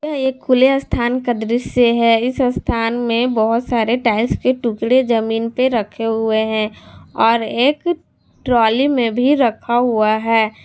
यह एक खुले स्थान का दृश्य है इस स्थान में बहोत सारे टाइल्स के टुकड़े जमीन पे रखे हुए हैं और एक ट्राली में भी रखा हुआ है।